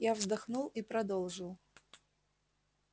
я вздохнул и продолжил